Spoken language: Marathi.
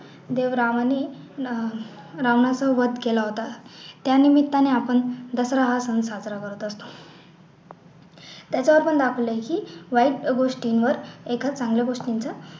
देव रामाने अह रावणाचा वध केला होता त्या निमित्ताने आपण दसरा हा सण साजरा करतो त्याच्या पासून आपलं की वाईट गोष्टींवर एका चांगल्या गोष्टींचा